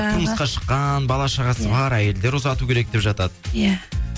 тұрмысқа шыққан бала шағасы бар әйелдер ұзату керек деп жатады иә